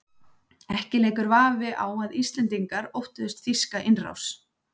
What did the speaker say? Ekki leikur vafi á að Íslendingar óttuðust þýska innrás.